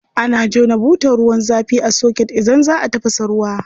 Ana jona butar ruwan zafi a soket idan za a tafasa ruwa.